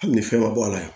Hali ni fɛn ma bɔ a la